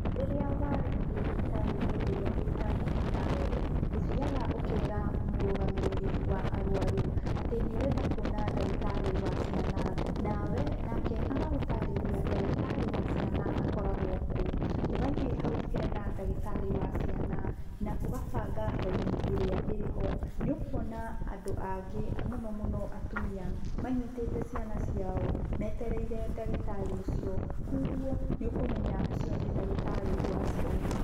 Rĩrĩa wathiĩ thibitarĩ-inĩ ĩrĩa ĩrĩhakuhĩ nawe, ũthiaga ũkera mũrũgamĩrĩri wa arwaru atĩ nĩũrenda kuona ndagĩtarĩ wa ciana. Nake agagũtarĩria ndagĩtarĩ wa ciana akoragwo kũ. Ũgathiĩ hau hena ndagĩtarĩ wa ciana, na ũgabanga raini ĩrĩa ĩrĩho. Nĩũkuona andũ angĩ, mũno mũno atumia manyitĩte ciana ciao, metereire ndagĩtarĩ ũcio, kwa ũguo, nĩũkũmenya ũcio nĩ ndagĩtarĩ wa ciana.